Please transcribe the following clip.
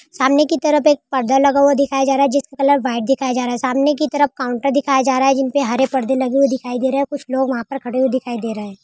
सामने कि तरफ एक परदा लगा हुआ दिखाया जा रहा है जिसका कलर व्हाइट दिखाया जा रहा है सामने की तरफ काउन्टर दिखाया जा रहा है जिन पर हरे पर्दे लगे हुए दिखाई दे रहे है। कुछ लोग वहां पर खड़े हुए दिखाई दे रहे है।